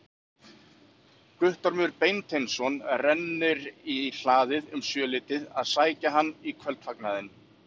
Guttormur Beinteinsson rennir í hlaðið um sjöleytið að sækja hann í kvöldfagnaðinn.